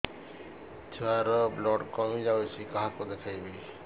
ଛୁଆ ର ବ୍ଲଡ଼ କମି ଯାଉଛି କାହାକୁ ଦେଖେଇବି